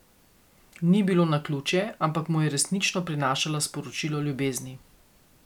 Ni bilo naključje, ampak mu je resnično prinašala sporočilo ljubezni.